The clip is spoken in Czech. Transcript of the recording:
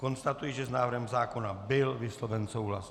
Konstatuji, že s návrhem zákona byl vysloven souhlas.